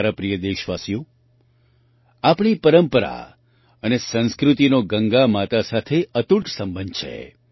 મારા પ્રિય દેશવાસીઓ આપણી પરંપરા અને સંસ્કૃતિનો ગંગા માતા સાથે અતૂટ સંબંધ છે